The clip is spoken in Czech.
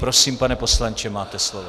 Prosím, pane poslanče, máte slovo.